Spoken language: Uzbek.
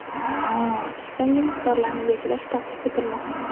yangi miqdorlarni belgilash taklif etilmoqda.